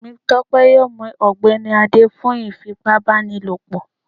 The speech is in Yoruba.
Temitope yọọ mú ọgbẹni Ade fún ifípábanílopo